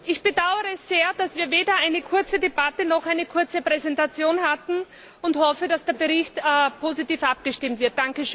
Ich bedaure es sehr, dass wir weder eine kurze Debatte noch eine kurze Präsentation hatten, und hoffe, dass der Bericht positiv abgestimmt wird.